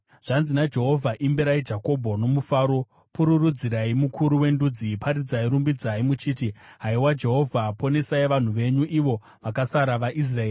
Zvanzi naJehovha: “Imbirai Jakobho nomufaro; pururudzirai mukuru wendudzi. Paridzai, rumbidzai, muchiti, ‘Haiwa Jehovha, ponesai vanhu venyu, ivo vakasara vaIsraeri.’